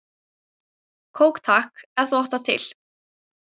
Kók takk, ef þú átt það til!